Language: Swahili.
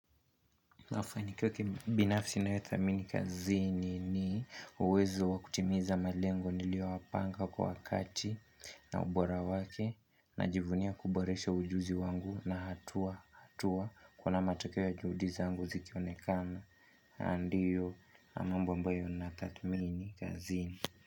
Mafanikio ya kibinafsi ninayothamini kazini ni uwezo wa kutimiza malengo niliowapanga kwa wakati na ubora wake Najivunia kuboresha ujuzi wangu na hatua hatua, kuna matakeo ya juhudi zangu zikionekana na ndiyo mambo ambayo natathmini kazini.